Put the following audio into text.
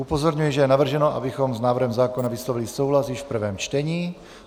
Upozorňuji, že je navrženo, abychom s návrhem zákona vyslovili souhlas již v prvém čtení.